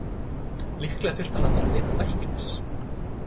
Líklega þyrfti hann að fara að leita læknis.